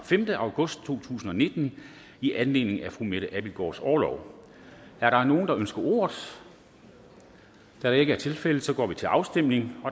femte august to tusind og nitten i anledning af mette abildgaards orlov er der nogen der ønsker ordet da det ikke er tilfældet går vi til afstemning